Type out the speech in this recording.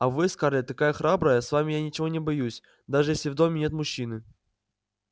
а вы скарлетт такая храбрая с вами я ничего не боюсь даже если в доме нет мужчины